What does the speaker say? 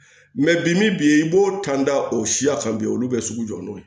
bi min bi i b'o tanda o siya kan bi olu bɛ sugu jɔ n'o ye